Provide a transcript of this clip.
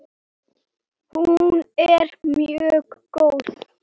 Hún er mjög góð.